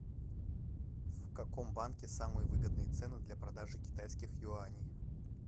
в каком банке самые выгодные цены для продажи китайских юаней